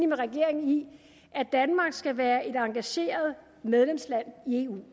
med regeringen i at danmark skal være et engageret medlemsland i eu et